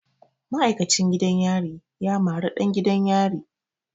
Ma'aikacin gidan yari ya mari ɗan gidan yari.